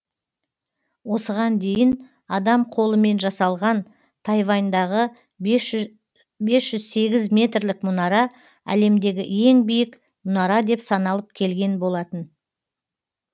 осыған дейін адам қолымен жасалған тайваньдағы бес жүз сегіз метрлік мұнара әлемдегі ең биік мұнара деп саналып келген болатын